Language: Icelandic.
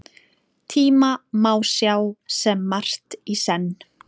Tíma má sjá sem margt í senn.